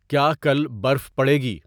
کیا کل برف پڑیگی؟